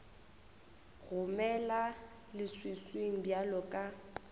go mela leswiswing bjalo ka